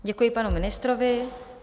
Děkuji panu ministrovi.